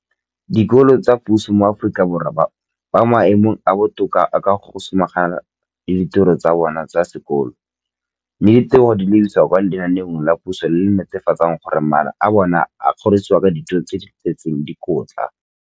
Dikolo tsa puso mo Aforika Borwa ba mo maemong a a botoka a go ka samagana le ditiro tsa bona tsa sekolo, mme ditebogo di lebisiwa kwa lenaaneng la puso le le netefatsang gore mala a bona a kgorisitswe ka dijo tse di tletseng dikotla.